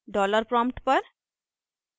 dollar prompt पर